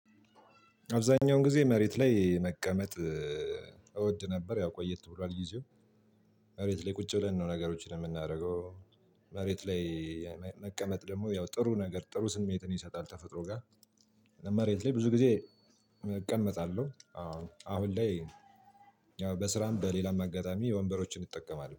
አብዛኛውን ጊዜ መሬት ላይ መቀመጥ እወድ ነበር ያው ቆየት ብሏል ጊዜው መሬት ላይ ቁጭ ብለን ነው ነገሮችን የምናደርገው። መሬት ላይ መቀመጥ ደግሞ ያው ጥሩ ነገር ጥሩ ስሜትን ይሰጣል ተፈጥሮ ጋር መሬት ላይ ብዙ ጊዜ እቀመጣለሁ። አሁን ላይ በስራም በሌላም አጋጣሚ ወንበሮችን እጠቀማለሁ